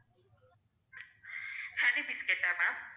honey biscuit ஆ ma'am